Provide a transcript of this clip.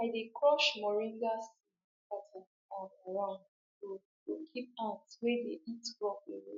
i dey crush moringa seeds scatter am around to to keep ants wey dey eat crop away